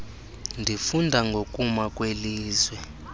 ndifunda ngokuma kwelizwe